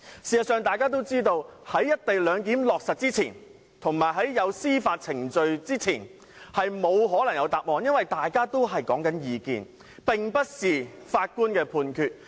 事實上，在"一地兩檢"落實之前，以及在有關的司法程序完結之前，是不可能有答案的，因為雙方所說的只是各自的意見，並不是法官的判決。